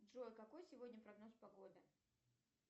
джой какой сегодня прогноз погоды